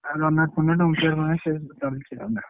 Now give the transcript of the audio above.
ଆଉ runout funout wicket fwicket ସେ system କିଛି ନାହିଁ ନା।